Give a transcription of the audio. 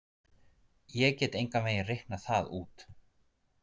Ég get engan veginn reiknað það út.